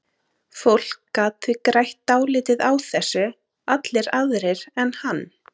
Fólk gat því grætt dálítið á þessu, allir aðrir en hann.